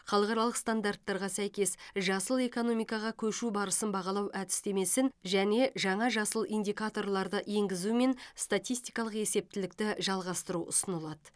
халықаралық стандарттарға сәйкес жасыл экономикаға көшу барысын бағалау әдістемесін және жаңа жасыл индикаторларды енгізумен статистикалық есептілікті жалғастыру ұсынылады